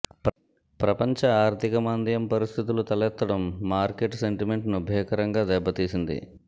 ప్రపంచ ఆర్థిక మాంద్యం పరిస్థితులు తలెత్తడం మార్కెట్ సెంటిమెంట్ను భీకరంగా దెబ్బతీసింది